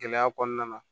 Gɛlɛya kɔnɔna na